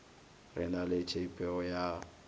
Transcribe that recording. re na le tshepho ya